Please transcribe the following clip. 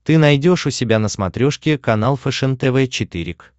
ты найдешь у себя на смотрешке канал фэшен тв четыре к